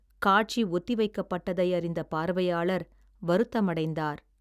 காட்சி ஒத்திவைக்கப்பட்டதை அறிந்த பார்வையாளர் வருத்தமடைந்தார்